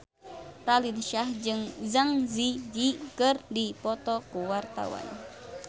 Raline Shah jeung Zang Zi Yi keur dipoto ku wartawan